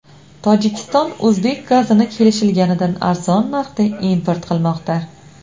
Tojikiston o‘zbek gazini kelishilganidan arzon narxda import qilmoqda.